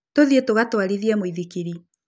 Tũthiĩ tũgatwarithie mũithikiri.